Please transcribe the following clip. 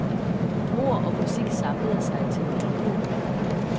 Ord og musik samlede sig til en helhed.